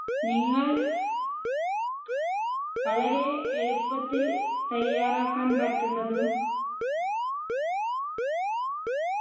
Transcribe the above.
നിങ്ങൾ വളരെ എളുപ്പത്തിൽ തയ്യാറാക്കാൻ പറ്റുന്നതും